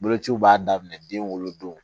Bolociw b'a daminɛ den wolodon